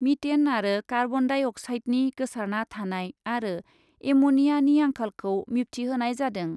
मिटेन आरो कार्बन डाइ अक्साइडनि गोसारना थानाय आरो एम'नियानि आंखालखौ मिबथिहोनाय जादों।